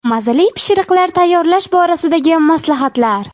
Mazali pishiriqlar tayyorlash borasida maslahatlar.